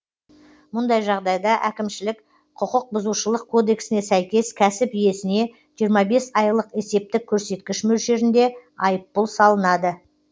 мұндай жағдайда әкімшілік құқықбұзушылық кодексіне сәйкес кәсіп иесіне жиырма бес айлық есептік көрсеткіш мөлшерінде айыппұл салынады